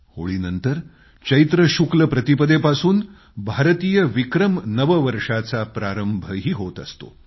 होळीनंतर चैत्र शुक्ल प्रतिपदेपासून भारतीय विक्रम नववर्षाचा प्रारंभही होत असतो